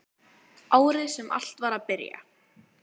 Árið sem allt var að byrja.